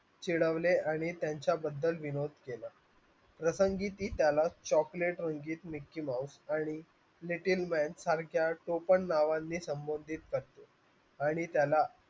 चिडवले आणि त्यांच्याबद्दल विनोद केला प्रसंगी ती त्याला chocolate म्हणजेच mickey mouse आणि lucky man सारख्या टोपण नावांनी संबोधित करतात आणि त्यांना